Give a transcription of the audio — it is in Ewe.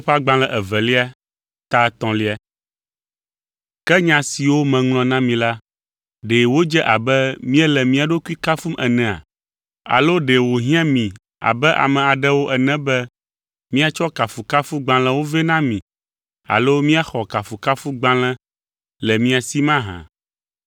Ke nya siwo meŋlɔ na mi la, ɖe wodze abe míele mía ɖokui kafum enea? Alo ɖe wòhiã mi abe ame aɖewo ene be míatsɔ kafukafugbalẽwo vɛ na mi alo míaxɔ kafukafugbalẽ le mia si mahã?